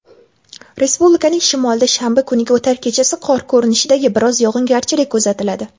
Respublikaning shimolida shanba kuniga o‘tar kechasi qor ko‘rinishidagi biroz yog‘ingarchilik kuzatiladi.